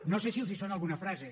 no sé si els sona alguna frase